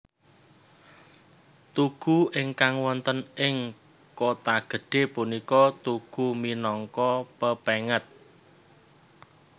Tugu ingkang wonten ing Kotagedhe punika tugu minangka pepenget